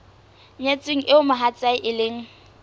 nyetsweng eo mohatsae e leng